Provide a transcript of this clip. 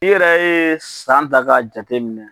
I yɛrɛ ye san ta k'a jate minɛ.